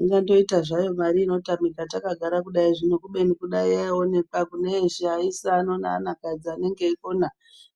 Ingatoita zvayo mari inotamika takagara kudayi zvino kubeni kudayi yaionekwa kune eshe aisa neanakadzi anenge eikona